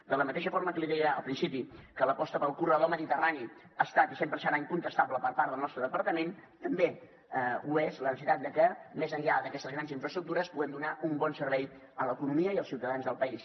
de la mateixa forma que li deia al principi que l’aposta pel corredor mediterrani ha estat i sempre serà incontestable per part del nostre departament també ho és la necessitat que més enllà d’aquestes grans infraestructures puguem donar un bon servei a l’economia i als ciutadans del país